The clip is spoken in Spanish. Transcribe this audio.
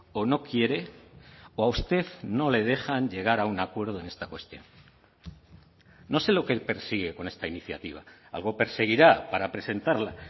o no quiere o a usted no le dejan llegar a un acuerdo en esta cuestión no sé lo que persigue con esta iniciativa algo perseguirá para presentarla